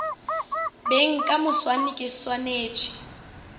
beng ka moswane ke swanetše